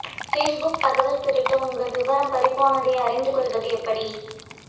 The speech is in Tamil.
ஃபேஸ்புக் தகவல் திருட்டு உங்க விவரம் பறிபோனதை அறிந்து கொள்வது எப்படி